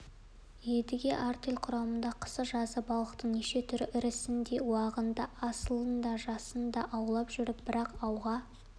бұл балықты аумен емес анда-санда қармаққа түсіргендер бар бірақ өте сирек ұстай қалса оның өзі балықшыларға үлкен мереке